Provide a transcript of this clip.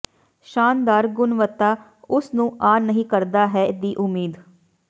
ਸ਼ਾਨਦਾਰ ਗੁਣਵੱਤਾ ਉਸ ਨੂੰ ਆ ਨਹੀ ਕਰਦਾ ਹੈ ਦੀ ਉਮੀਦ